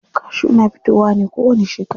Kashu na fitowa ne kowani shekara.